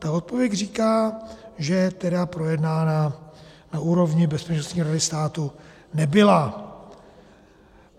Ta odpověď říká, že tedy projednána na úrovni Bezpečnostní rady státu nebyla.